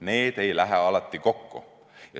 Need arvamused ei lähe alati kokku.